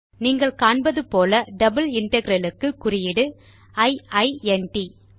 நீங்கள் காண்பது போல் டபிள் இன்டெக்ரல் க்கு குறியீடு இ இ ந் ட்